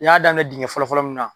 U y'a daminɛ dingɛ fɔlɔ fɔlɔ mun na.